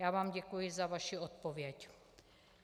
Já vám děkuji za vaši odpověď.